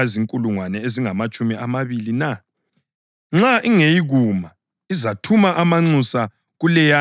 Nxa ingeyikuma, izathuma amanxusa kuleyana isesekude icele uxolo.